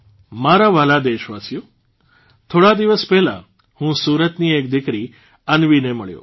મારા વ્હાલા દેશવાસીઓ થોડા દિવસ પહેલાં હું સુરતની એક દીકરી અન્વીને મળ્યો